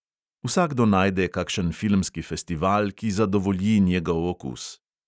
Vsakdo najde kakšen filmski festival, ki zadovolji njegov okus.